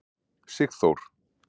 Sigþór